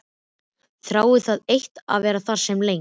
Þráði það eitt að vera þar sem lengst.